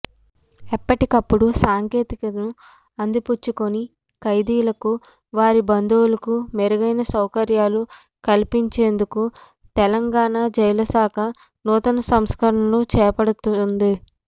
ఎప్పటికప్పుడు సాంకేతికతను అందిపుచ్చుకుని ఖైదీలకు వారి బందువులుకు మేరుగైన సౌకర్యాలు కల్పించేందుకు తెలంగాణ జైళ్ల శాఖ నూతన సంస్కరణలు చేపడుతుంది